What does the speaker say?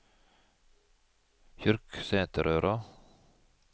Kyrksæterøra